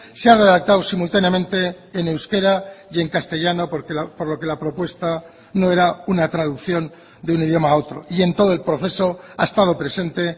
se ha redactado simultáneamente en euskera y en castellano por lo que la propuesta no era una traducción de un idioma a otro y en todo el proceso ha estado presente